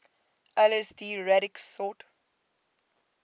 lsd radix sort